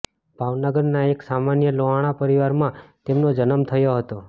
ભાવનગરના એક સામાન્ય લોહાણા પરીવારમાં તેમનો જન્મ થયો હતો